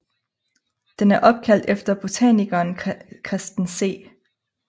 Den er opkaldt efter botanikeren Christen C